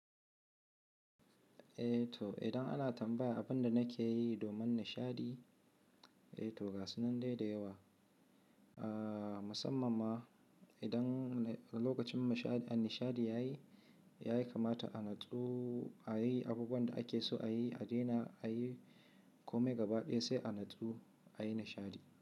Eh to idan ana tambaya abin da nake yi domin nishaɗi, eh to ga sunan dai da yawa. Aaa musamman ma idan lokacin a nishaɗi ya yi, ya yi kamata a natsu, a yi abubuwan da ake so a yi, a daina a yi kome gaba ɗaya sai a natsu a yi nishaɗi.